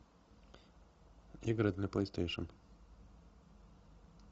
игры для плейстейшен